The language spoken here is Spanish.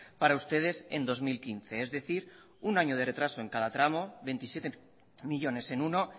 para ustedes en dos mil quince es decir un año de retraso en cada tramo veintisiete millónes en uno